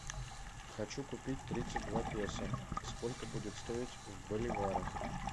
хочу купить тридцать два песо сколько будет стоить в боливарах